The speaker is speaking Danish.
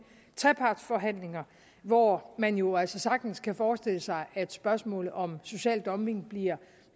trepartsforhandlinger hvor man jo altså sagtens kan forestille sig at spørgsmålet om social dumping bliver